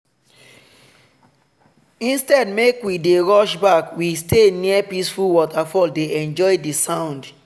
instead make we dey rush back we stay near peaceful waterfall dey enjoy di sound.